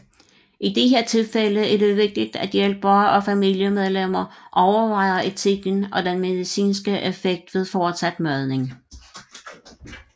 I disse tilfælde er det vigtigt at hjælpere og familiemedlemmer overvejer etikken og den medicinske effekt ved fortsat madning